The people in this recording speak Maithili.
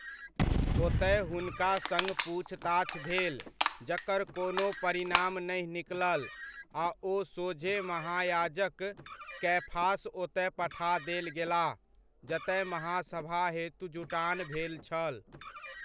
ओतय हुनका सङ्ग पूछताछ भेल जकर कोनो परिणाम नहि निकलल आ ओ सोझे महायाजक कैफास ओतय पठा देल गेलाह जतय महासभा हेतु जुटान भेल छल।